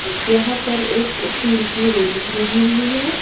यहां पर एक स्टील की रेलिंग लगी हुई हैं।